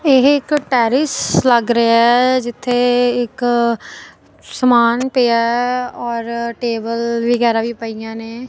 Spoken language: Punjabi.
ਇਹ ਇਕ ਟੈਰਿਸ ਲੱਗ ਰਿਆ ਆ ਜਿੱਥੇ ਇੱਕ ਸਮਾਨ ਪਿਆ ਔਰ ਟੇਬਲ ਵਗੈਰਾ ਵੀ ਪਈਆਂ ਨੇ।